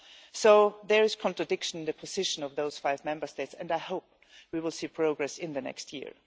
So there is a contradiction in the position of those five Member States, and I hope we will see progress in the next year.